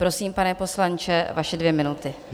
Prosím, pane poslanče, vaše dvě minuty.